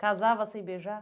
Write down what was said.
Casava sem beijar?